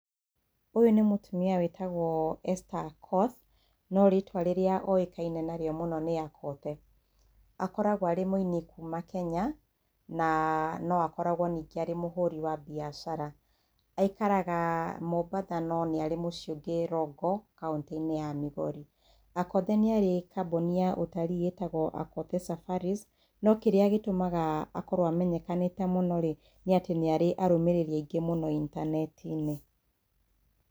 Ũyũ nĩ mũtumia wĩtagwo Esther Akoth, no rĩtwa rĩrĩa oĩkaine na rĩo mũno nĩ Akothee. Akoragwo arĩ mũini kuma Kenya, na no akoragwo ningĩ arĩ mũhũri wa mbiacara. Aikaraga Mombatha, no nĩarĩ mũciĩ ũngĩ Rongo, kauntĩ-inĩ ya Migori. Akothee nĩ arĩ kambuni ya ũtarii ĩtagwo Akothee Safaris. No kĩrĩa gĩtũmaga akorwo amenyekanĩte mũno rĩ, nĩ atĩ arĩ arũmĩrĩri aingĩ mũno intaneti-inĩ.